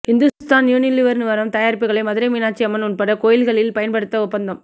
Hindustan Unilever நிறுவன தயாரிப்புகளை மதுரை மீனாட்சி அம்மன் உள்பட கோயில்களில் பயன்படுத்த ஒப்பந்தம்